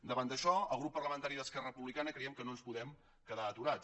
davant d’això el grup parlamentari d’esquerra republicana creiem que no ens podem quedar aturats